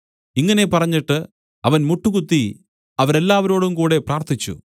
ഇങ്ങനെ പറഞ്ഞിട്ട് അവൻ മുട്ടുകുത്തി അവരെല്ലാവരോടും കൂടെ പ്രാർത്ഥിച്ചു